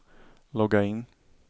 logga in